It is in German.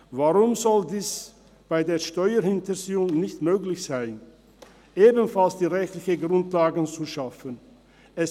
Warum soll es bei Steuerhinterziehung nicht möglich sein, ebenfalls die rechtlichen Grundlagen zu schaffen wie bei den Sozialhilfedetektiven?